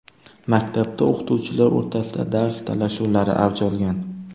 Maktabda o‘qituvchilar o‘rtasida dars talashuvlari avj olgan.